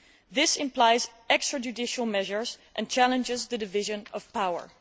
This implies extra judicial measures and challenges the division of power'.